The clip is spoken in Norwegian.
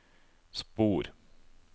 spor